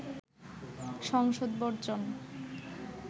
সংসদ বর্জন